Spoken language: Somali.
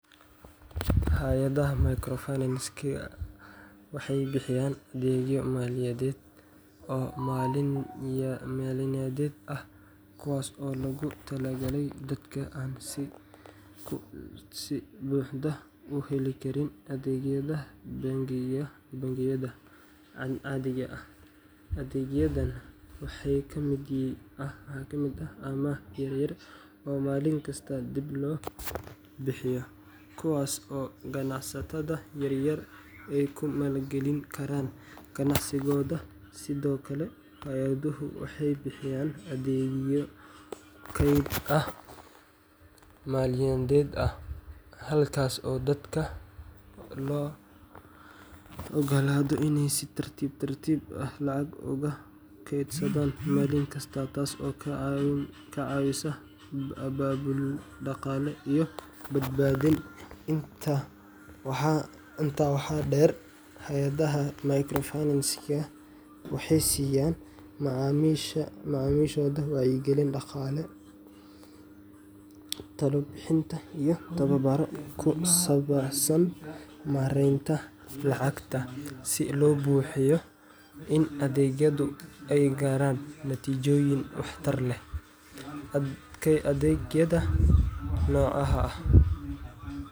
Hay’adaha microfinance-ka waxay bixiyaan adeegyo maaliyadeed oo maalinyadeed ah kuwaas oo loogu talagalay dadka aan si buuxda u heli karin adeegyada bangiyada caadiga ah. Adeegyadan waxaa ka mid ah amaah yar-yar oo maalinkasta dib loo bixiyo, kuwaas oo ganacsatada yaryar ay ku maalgelin karaan ganacsigooda. Sidoo kale, hay’aduhu waxay bixiyaan adeegyo kayd maalinyadeed ah, halkaas oo dadka loo oggolaado inay si tartiib tartiib ah lacag u keydsadaan maalin kasta, taasoo ka caawisa abaabul dhaqaale iyo badbaadin. Intaa waxaa dheer, hay’adaha microfinance-ka waxay siiyaan macaamiishooda wacyigelin dhaqaale, talo bixin iyo tababaro ku saabsan maaraynta lacagta, si loo hubiyo in adeegyadu ay gaaraan natiijooyin waxtar leh. Adeegyada noocaha ah.